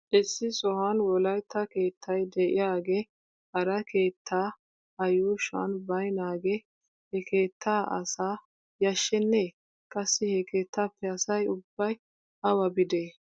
Issi sohuwan wolaytta keettay de'iyaagee hara keetta a yuushuwan baynaagee he keettaa asaa yashshenee? Qassi he keettaappe asay ubbay awa biidee?